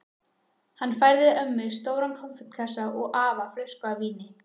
Hann færði ömmu stóran konfektkassa og afa flösku af víni.